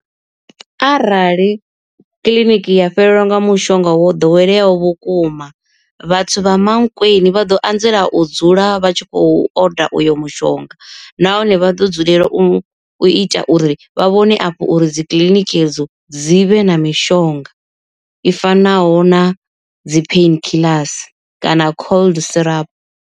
Arali kiḽiniki ya fhelelwa nga mushonga wo ḓoweleaho vhukuma vhathu vha Mankweng vha ḓo anzela u dzula vha tshi khou oda uyo mushonga, nahone vha ḓo dzulela u ita uri vha vhone afho uri dzi kiḽiniki edzo dzivhe na mishonga i fanaho na dzi painkillers kana cold syrup.